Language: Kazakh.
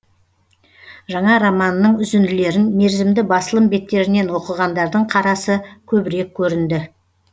жаңа романының үзінділерін мерзімді басылым беттерінен оқығандардың қарасы көбірек көрінді